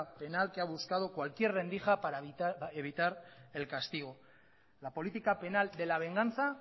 penal que ha buscado cualquier rendija para evitar el castigo la política penal de la venganza